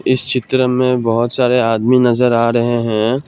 इस चित्र में बहुत सारे आदमी नजर आ रहे हैं।